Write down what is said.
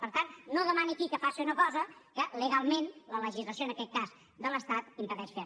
per tant no demani aquí que faci una cosa que legalment la legislació en aquest cas de l’estat impedeix fer